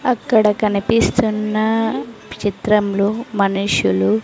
అక్కడ కనిపిస్తున్న చిత్రంలో మనుషులు.